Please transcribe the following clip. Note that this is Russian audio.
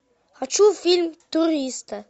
хочу фильм туристы